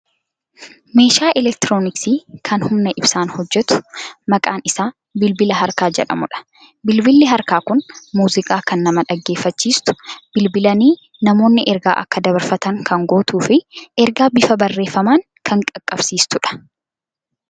Meeshaa elektirooniksii kan humna ibsaan hojjetu maqaan isaa bilbila harkaa jedhamudha. Bilbilli harkaa kun muuziqaa kan nama dhaggeeffachiistu, bilbilanii namoonni ergaa akka dabarfatan kan gootuu fi ergaa bifa barreeffamaan kan qaqqabsiistudha.